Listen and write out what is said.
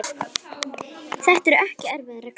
Þetta eru ekki erfiðar reglur.